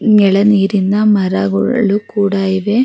ಎಳೆ ನೀರಿನ ಮರಗಳು ಕೂಡ ಇವೆ. --